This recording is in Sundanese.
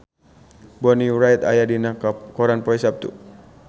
Bonnie Wright aya dina koran poe Saptu